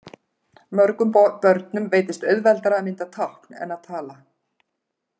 Mörgum börnum veitist auðveldara að mynda tákn en að tala.